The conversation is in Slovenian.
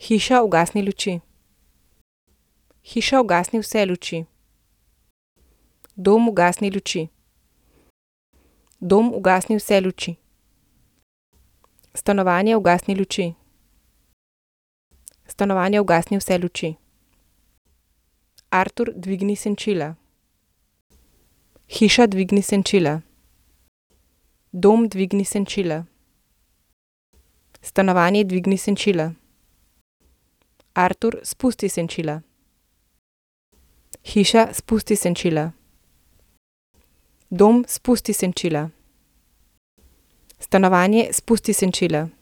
Hiša, prižgi luči. Hiša, prižgi vse luči. Dom, prižgi luči. Dom, prižgi vse luči. Stanovanje, prižgi luči. Stanovanje, prižgi vse luči. Artur, ugasni luči. Artur, ugasni vse luči. Hiša, ugasni luči. Hiša, ugasni vse luči. Dom, ugasni luči. Dom, ugasni vse luči. Stanovanje, ugasni luči. Stanovanje, ugasni vse luči. Artur, dvigni senčila. Hiša, dvigni senčila. Dom, dvigni senčila. Stanovanje, dvigni senčila. Artur, spusti senčila. Hiša, spusti senčila. Dom, spusti senčila. Stanovanje, spusti senčila.